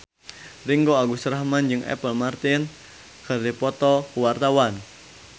Ringgo Agus Rahman jeung Apple Martin keur dipoto ku wartawan